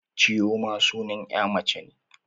Chioma sunan 'ya mace ce.